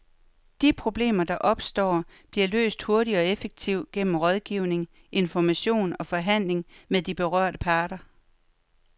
De problemer, der opstår, bliver løst hurtigt og effektivt gennem rådgivning, information og forhandling med de berørte parter.